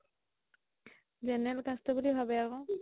general caste ৰ বুলি ভাবে আকৌ